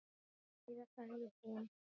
Heiða, sagði hún.